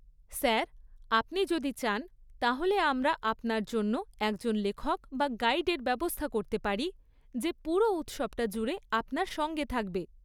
Sir, আপনি যদি চান তাহলে আমরা আপনার জন্য একজন লেখক বা গাইডের ব্যবস্থা করতে পারি যে পুরো উৎসবটা জুড়ে আপনার সঙ্গে থাকবে।